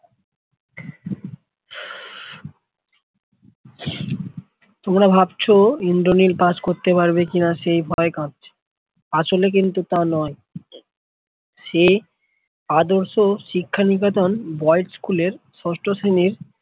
তোমরা ভাবছো ইন্দ্রনীল কাজ করতে পারবে কিনা সেই ভয় কাঁপছে আসলে কিন্তু তা নয় সে আদর্শ শিক্ষা নিকেতন boys স্কুলের first sem এর